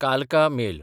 कालका मेल